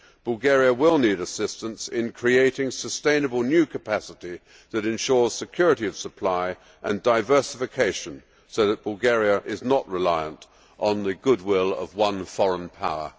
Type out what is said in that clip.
Bulgaria will need assistance in creating sustainable new capacity that ensures security of supply and diversification, so that Bulgaria is not reliant on the goodwill of one foreign power.